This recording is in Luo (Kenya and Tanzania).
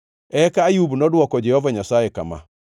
Eka Ayub nodwoko Jehova Nyasaye kama: